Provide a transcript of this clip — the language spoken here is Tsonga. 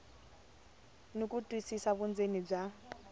ni ku twisisa vundzeni bya